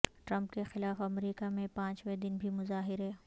Trump کے خلاف America میں پانچویں دن بھی مظاہرے